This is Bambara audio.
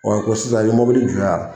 Ɔ ko sisan i bɛ mobili jɔ yan.